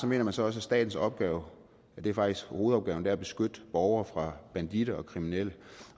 mener man så også at statens opgave faktisk hovedopgaven er at beskytte borgere fra banditter og kriminelle